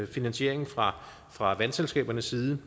finansiering fra fra vandselskabernes side